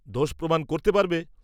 দোষ প্রমাণ করতে পারবে?